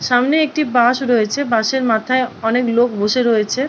সামনে একটি বাস রয়েছে। বাস -এর মাথায় অনেক লোক বসে রয়েছে --